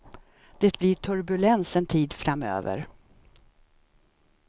Det blir turbulens en tid framöver.